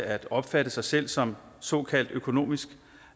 at opfatte sig selv som såkaldt økonomisk